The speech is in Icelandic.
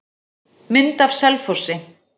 Mynd af Selfossi.